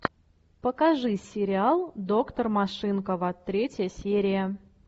покажи сериал доктор машинкова третья серия